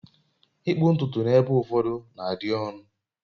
ịkpụ ntutu n'ebe ụfọdụ na-adị ọnụ